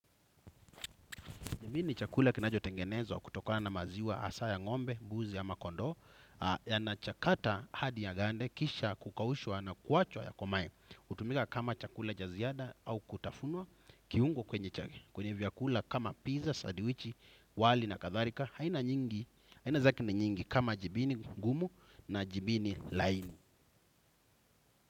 Jibi ni chakula kinacho tengenezwa kutokona na maziwa hasa ya ngombe, mbuzi ya ama kondoo yanachakata hadi ya gande kisha kukaushwa na kuachwa ya komae utumika kama chakula cha ziada au kutafunwa kiungo kwenye chake kwenye vyakula kama pizza, sadiwichi, wali na kathalika aina nyingi, aina zake na nyingi kama jibini gumu na jibini laini.